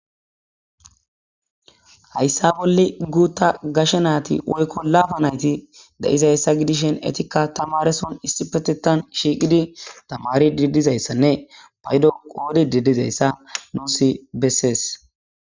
Hayssa bolle guuta gashe naati woykko laafa nayti da'izayssa gidishen etikka tamareson istipetetan shiiqidi tamari didizayssanne paydo qoodi didizayssa noosi bessees.